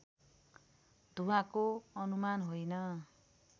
धुवाँको अनुमान होइन